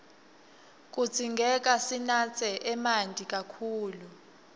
kudzingeka sinatse emanti kakhulu